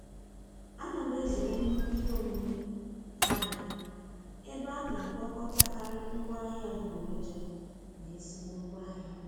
A na m ezere nnukwu ihe omume ahịa ebe a na-agwakọtakari ngwa ahịa adịgboroja na ezigbo ngwaahịa.